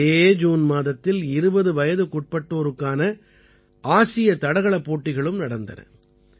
இதே ஜூன் மாதத்தில் 20 வயதுக்குட்பட்டோருக்கான ஆசிய தடகளப் போட்டிகளும் நடந்தன